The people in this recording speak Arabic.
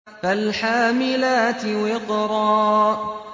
فَالْحَامِلَاتِ وِقْرًا